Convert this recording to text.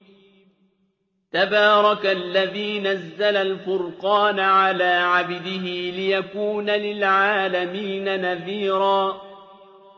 تَبَارَكَ الَّذِي نَزَّلَ الْفُرْقَانَ عَلَىٰ عَبْدِهِ لِيَكُونَ لِلْعَالَمِينَ نَذِيرًا